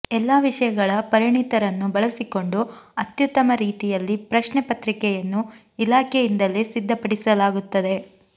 ಎಲ್ಲಾ ವಿಷಯಗಳ ಪರಿಣಿತರನ್ನು ಬಳಸಿಕೊಂಡು ಅತ್ಯುತ್ತಮ ರೀತಿಯಲ್ಲಿ ಪ್ರಶ್ನೆ ಪತ್ರಿಕೆಯನ್ನು ಇಲಾಖೆಯಿಂದಲೇ ಸಿದ್ಧಪಡಿಸಲಾಗುತ್ತದೆ